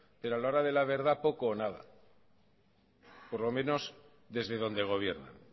pero a la hora de la verdad poco o nada por lo menos desde donde gobiernan